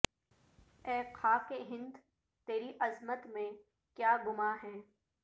اے خاک ہند تیری عظمت میں کیا گماں ہے